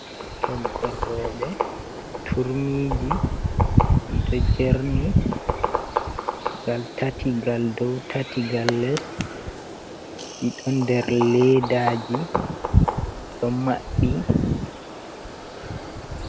Toggol roɓe:, Turmiji dido jerni. Ngal tati gal dou, tati ngal less ɗiɗo nder ledaji mabbi.